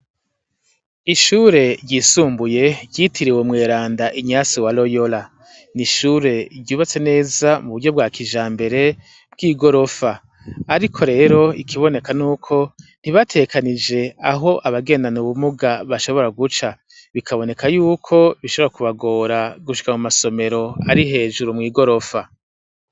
Ishure ryisumbuye ryitiriwe umweranda inyansi wa royora, n'ishure ryubatse neza muburyo bwakijambere bw'igorofa, ariko rero ikiboneka n'uko ntibategekanije aho abagendana ubumuga bashobora guca, bikaboneka y'uko bishobora kubagora gushika mu masomero ari hejuru mw'igorofa.